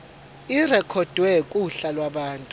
irekhodwe kuhla lwabantu